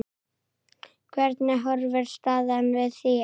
Hvernig horfir staðan við þér?